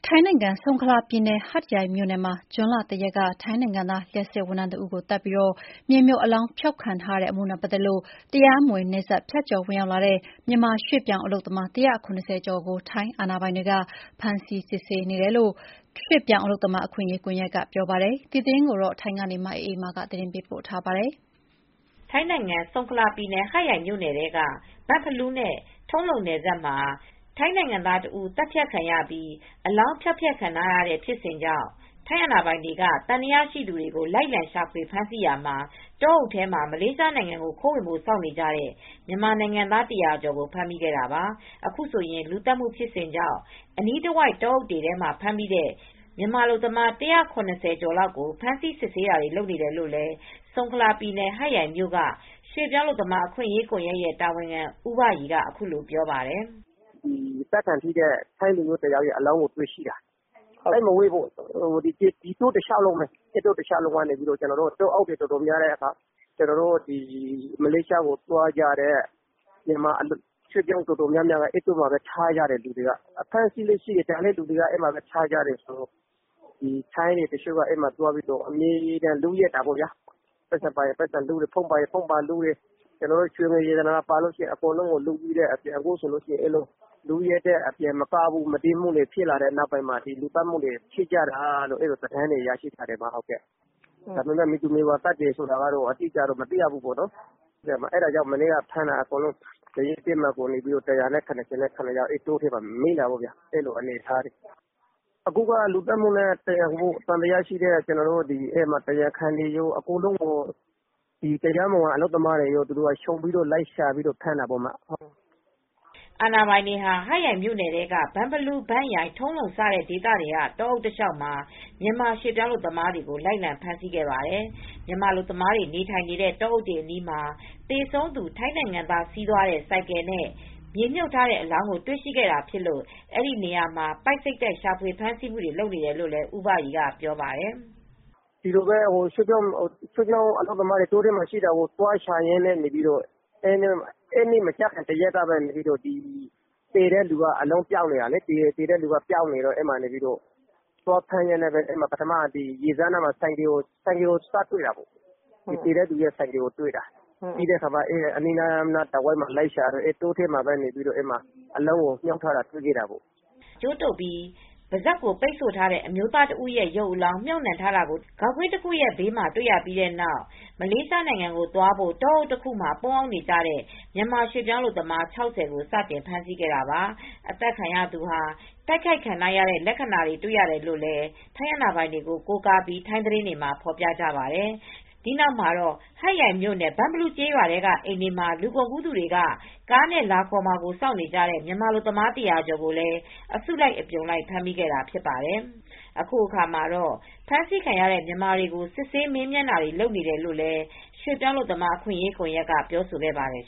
ထိုင်းနိုင်ငံ ဆုန်ခလာပြည်နယ် ဟတ်ယိုင်မြို့နယ်မှာ ဇွန်လ၁ ရက်က ထိုင်းနိုင်ငံသား လျှပ်စစ်ဝန်ထမ်းတဦးကို သတ်ပြီး မြေမြှုပ် အလောင်းဖျောက်ခံထားရတဲ့ အမှုနဲ့ပတ်သက်လို့ တရားမဝင်နယ်စပ်ဖြတ်ကျော် ဝင်ရောက်လာတဲ့ မြန်မာရွှေ့ပြောင်းအလုပ်သမား ၁၇၀ကျော်ကို ထိုင်းအာဏာပိုင်တွေက ဖမ်းဆီးစစ်ဆေးနေတယ်လို့ ရွေပြောင်းအလုပ်သမားအခွင့်ရေးကွန်ယက်ကပြောပါတယ် ။ ဒီသတင်းကို ဗွီအိုအေ သတင်းထောက် မအေးအေးမာ ကပြောပြပေးပါမယ်။ ထိုင်းနိုင်ငံ ဆုန်ခလာပြည်နယ် ဟတ်ရိုင်မြိုနယ်ထဲ က ဘန့်ဖလူးနဲ့ ထုံးလုံနယ်စပ် မှာ ထိုင်းနိုင်ငံသားတဦး သတ်ဖြတ်ခံရပြီး အလောင်းကို ဖျောက်ဖျက်ခံထားရတဲ့ ဖြစ်စဉ်ကြောင့် ထိုင်းအာဏာပိုင်တွေက သံသယရှိသူတွေကို လိုက်လံရှာဖွေဖမ်းဆီးရာမှာ တောအုပ်ထဲမှာ မလေးရှားနိုင်ငံကို ခိုးဝင်ဖို့စောင့်နေကြတဲ့ မြန်မာနိုင်ငံသား ၁၀၀ကျော်ကို ဖမ်းမိခဲ့တာပါ။ အခုဆိုရင် လူသတ်မူဖြစ်စဉ်ကြောင့် အနီးတဝိုက်တောအုပ်ထဲမှ ာဖမ်းမိတဲ့ မြန်မာအလုပ်သမား ၁၇၀ကျော်လောက် ကို ဖမ်းဆီးစစ်ဆေးတာတွေလုပ်နေတယ်လို့လည်း ဆုံခလာပြည်နယ် ဟတ်ရိုင်မြို့ က ရွေပြောင်းအလုပ်သမား အခွင့်ရေးကွန်ယက် တာဝန်ခံ ဦးဘရီ က အခုလိုပြောပါတယ်။ "အသတ်ခံထိတဲ့ ထိုင်းလူမျိုးတယောက်ရဲ့အလောင်းကိုတွေ့ရှိတာ သိတ်မဝေးဘူး ။သစ်တောတလျောက်လုံးမှာ တောအုပ်တွေ အတော်များများမှာ မလေးရှားကိုသွားကြမယ့်သူတွေ ရွေပြောင်း အလုပ်သမားအတော်များများကို ထားထားတာ အဖမ်းဆီးတွေရှိတော့ အဲဒီနေရာမှာထားကြတယ် ။ အဲဒီနေရာမှာ ထိုင်းတွေက အဲဒီမှာသွားပြီး လုယက်တာတွေရှိတယ်။ ပိုက်ဆံပါရင် ပိုက်ဆံလု့တယ်။ ဖုန်းပါရင်ဖုန်းတွေသွားလုတယ်။ ရွှေငွေရတနာပါရင် အဲဒါတွေကိုလုယက်တာတွေရှိတယ်။ အဲဒီလို့ လူယက်မူ့တွေ မုဒိန်းမူတွေဖြစ်ပြီးတော့ အခုလို လူသတ်မူတွေဖြစ်တာလို့ သတင်းရထားတယ်။ ဒါပေမယ့် မည်သူမည်ဝါ သတ်တယ်ဆိုတာတော့ မသိရဘူး ။ အဲဒီတော့မနေ့က ဖမ်းတာကတော့ ၁၇၇ယောက်ကို တောအုပ်ထဲမှာမိတာပေါ့ ။ အဲဒီလိုအနေအထားတွေ အခုတော့ လူသတ်မူနဲ့ သံသယရှိသူတွေ တရားခံတွေ ရွေပြောင်းအလုပ်သမားတွေအားလုံးကိုခြုံပြီးတော့လိုက်ဖမ်းတာပေါ့နော်" အာဏာပိုင်တွေ ဟာ ဟတ်ရိုင်မြိုနယ်ထဲက ဘန့်ဖလူး ဘန့်ရိုင် ထုံးလုံ စတဲ့ဒေသတွေက တောအုပ်တလျောက်မှာ မြန်မာရွှေပြောင်း အလုပ်သမားတွေကို လိုက်လံဖမ်းဆီးခဲ့ပါတယ် ။ မြန်မာအလုပ်သမားတွေ နေထိုင်နေတဲ့တောအုပ်တွေအနီးမှာ သေဆုံးသူ ထိုင်းနိုင်ငံသား စီးသွားတဲ့ ဆိုင်ကယ်နဲ့ မြေမြှပ်ထားတဲ့အလောင်းကို တွေ့ရှိခဲ့တာဖြစ်လို့ အဲဒီနေရာမှာ ပိုက်စိတ်တိုက်ရှာဖွေဖမ်းဆီးမူတွေလုပ်နေတာလို့လည်း ဦးဘရီကပြောပါတယ်။ " ရွေပြောင်းအလုပ်သမားတွေ တောထဲမှာရှိတာကို သွားဖမ်းရင်းနဲ့ သေတဲ့သူက အလောင်းကပျောက်နေတယ်။ သေတဲ့လူက ပျောက်နေတော့ လူတွေကိုသွားဖမ်းရင်းနဲ့ သေတဲ့သူရဲ့ ဆိုင်ကယ်ကို စတွေ့တာ။ တောထဲမှာပဲအလောင်းကိုမြုပ်ထားတာတွေရတယ်" ကြိုးတုပ်ပြီး ပါးစပ်ကိုပိတ်ဆို့ထားတဲ့ အမျိုးသားတစ်ဦးရဲ့ ရုပ်အလောင်း ဂေါက်ကွင်းတစ်ခုရဲ့ဘေးမှာ မြှပ်နှံထားတာကိုတွေ ရပြီးတဲ့နောက် မလေးရှားနိုင်ငံကိုသွားဖို့ တောအုပ်တစ်ခုမှာ ပုန်းအောင်းနေတဲ့ မြန်မာရွှေ့ပြောင်းအလုပ်သမား ၆၀ကိုစတင်ဖမ်းမိခဲ့တာပါ ။ အသတ်ခံရသူဟာ တိုက်ခိုက်ခံထားရတဲ့လက္ခဏာတွေ့ရတယ်လို့ ထိုင်းအာဏာပိုင်တွေကို ကိုးကားပြီး ထိုင်းသတင်းမှာ ဖော်ပြကြပါတယ်။ ဒီနောက်မှာတော့ ဟတ်ရိုင်မြိုနယ် ဘန့်ဖလူးကျေးရွာထဲ က နေအိမ်တွေမှာ လူကုန်ကူးသူတွေက ကားနဲ့လာခေါ်မှာစောင့်နေကြတဲ့ မြန်မာအလုပ်သမား၁၀၀ကျော်ကိုလည်း အစုလိုက်အပြုံလိုက် ဖမ်းမိခဲ့တာဖြစ်ပါတယ်။ အခုအခါမှာတော့ ဖမ်းဆီးခံရတဲ့ မြန်မာတွေကို စစ်ဆေးမေးမြန်းတာတွေ လုပ်နေတယ်လို့လည်း ရွှေပြောင်းအလုပ်သမား အခွင့်ရေး ကွန်ယက် က ပြောဆိုခဲ့ပါတယ်